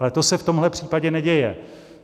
Ale to se v tomhle případě neděje.